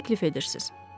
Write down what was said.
Nə təklif edirsiz?